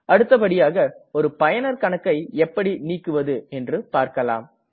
அடுத்தபடியாக ஒரு பயனர் கணக்கை எப்படி நீக்குவது என்று பார்க்கலாம்